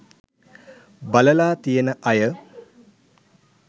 බලලා තියෙන අය